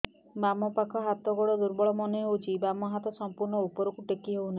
ବାମ ପାଖ ହାତ ଗୋଡ ଦୁର୍ବଳ ମନେ ହଉଛି ବାମ ହାତ ସମ୍ପୂର୍ଣ ଉପରକୁ ଟେକି ହଉ ନାହିଁ